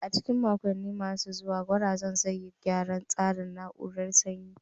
A cikin makonni masu zuwa, gwazakin zai yi gyaran tsarin na'urar sanyi.